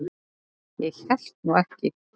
Ég hélt nú ekki.